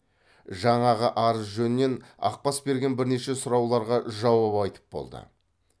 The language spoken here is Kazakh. жаңағы арыз жөнінен ақбас берген бірнеше сұрауларға жауап айтып болды